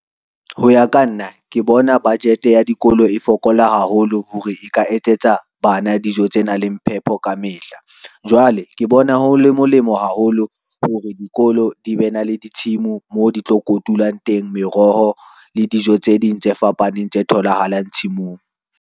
Ho ya ka nna, ke bona budget ya dikolo e fokola haholo hore e ka etsetsa bana dijo tse nang le phepo kamehla. Jwale ke bona ho le molemo haholo hore dikolo di be na le ditshimo mo di tlo kotulang teng, meroho le dijo tse ding tse fapaneng tse tholahalang tshimong.